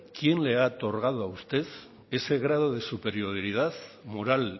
quién le ha otorgado a usted ese grado de superioridad moral